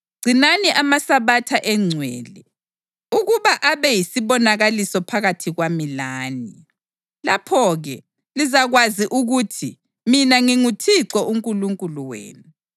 Gcinani amaSabatha engcwele, ukuba abe yisibonakaliso phakathi kwami lani. Lapho-ke lizakwazi ukuthi mina nginguThixo uNkulunkulu wenu.”